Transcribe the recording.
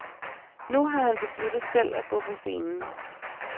Nu har han besluttet selv at gå på scenen.